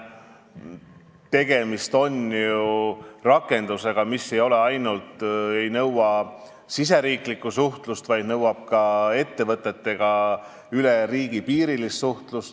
Tegemist on ju rakendusega, mis ei nõua ainult riigisisest suhtlust, vaid nõuab ka ettevõtetega suhtlust üle riigipiiride.